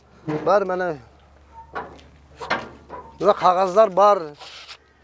бәрі міне мына қағаздар бар